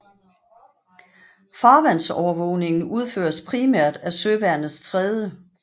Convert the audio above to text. Farvandsovervågningen udføres primært af søværnets 3